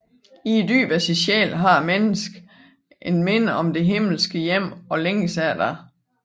I dybet af sin sjæl har mennesket et minde om det himmelske hjem og længes efter det